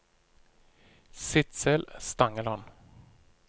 Sidsel Stangeland